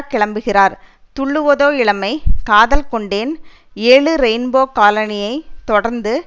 கிளம்புகிறார் துள்ளுவதோ இளமை காதல் கொண்டேன் ஏழு ரெயின்போ காலனியை தொடர்ந்து